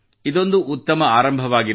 ಇದೊಂದು ಉತ್ತಮ ಆರಂಭವಾಗಿದೆ